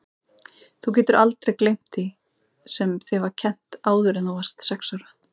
Þú getur aldrei gleymt því sem þér var kennt áður en þú varðst sex ára.